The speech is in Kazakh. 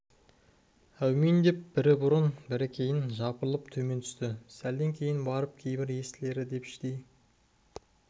әумин деп бірі бұрын бірі кейін жапырылып төмен түсті сәлден кейін барып кейбір естілері деп іштей